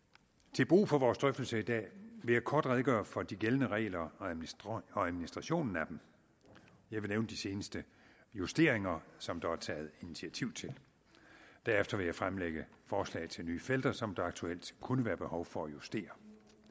til brug for vores drøftelse i dag vil jeg kort redegøre for de gældende regler og administrationen af dem jeg vil nævne de seneste justeringer som der er taget initiativ til derefter vil jeg fremlægge forslag til nye felter som der aktuelt kunne være behov for at justere